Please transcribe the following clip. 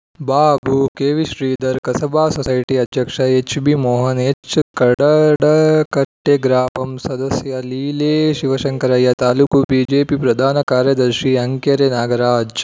Babu K V Shridhar Kasaba society ಅಧ್ಯಕ್ಷ H B Mohan H ಕಡದಕಟ್ಟೆಗ್ರಾಪಂ ಸದಸ್ಯೆ ಲೀಲೆ ಶಿವಶಂಕರಯ್ಯ ತಾಲೂಕು ಬಿಜೆಪಿ ಪ್ರಧಾನ ಕಾರ್ಯದರ್ಶಿ ಅಂಕೆರೆ ನಾಗರಾಜ್‌